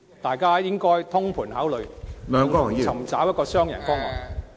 大家都應該通盤考慮......尋找一個雙贏方案。